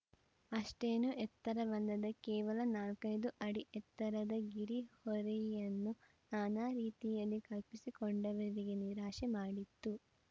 ಅಷ್ಟೇನು ಎತ್ತರವಲ್ಲದ ಕೇವಲ ನಾಲ್ಕೈದು ಅಡಿ ಎತ್ತರದ ಗಿರ್‌ ಹೋರಿಯನ್ನು ನಾನಾ ರೀತಿಯಲ್ಲಿ ಕಲ್ಪಿಸಿಕೊಂಡವರಿಗೆ ನಿರಾಶೆ ಮಾಡಿತ್ತು